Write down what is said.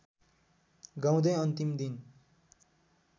गाउँदै अन्तिम दिन